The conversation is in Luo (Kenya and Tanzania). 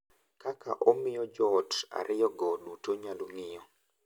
Kaka omiyo joot ariyogo duto nyalo ng’iyo .